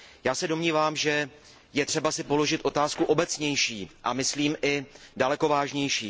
Já se domnívám, že je třeba si položit otázku obecnější, a myslím i daleko vážnější.